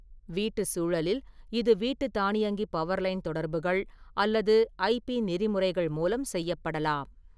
வீட்டு சூழலில், இது வீட்டு தானியங்கி பவர்லைன் தொடர்புகள் அல்லது ஐ.பி நெறிமுறைகள் மூலம் செய்யப்படலாம்.